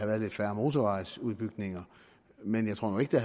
været lidt færre motorvejsudbygninger men jeg tror nu ikke